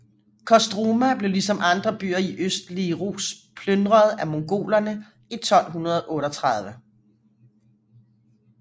Kostroma blev ligesom andre byer i østlige Rus plynret af Mongolerne i 1238